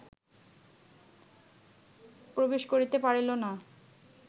প্রবেশ করিতে পারিল না